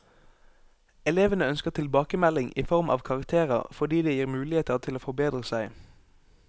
Elevene ønsker tilbakemelding i form av karakterer, fordi det gir muligheter til å forbedre seg.